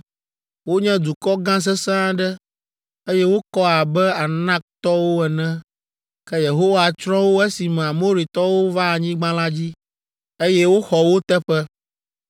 Wonye dukɔ gã sesẽ aɖe, eye wokɔ abe Anaktɔwo ene. Ke Yehowa tsrɔ̃ wo esime Amoritɔwo va anyigba la dzi, eye woxɔ wo teƒe.